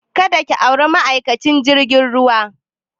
Ka da ki auri ma'aikacin jirgin ruwa!